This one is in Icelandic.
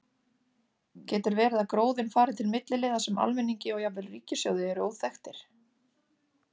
Getur verið að gróðinn fari til milliliða sem almenningi og jafnvel ríkissjóði eru óþekktir?